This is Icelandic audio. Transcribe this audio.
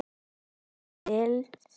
Ragnar Arnalds